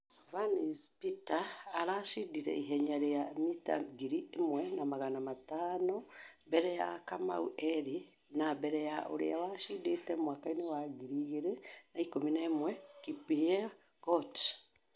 Vance peter arachindire ihenya rĩa mita ngiri ĩmwe na magana matano mbere ya kamau eli na mbere ya ũrĩa wachindĩte mwaka wa 2011 kipyegot